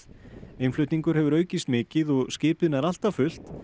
innflutningur hefur aukist mikið og skipið nær alltaf fullt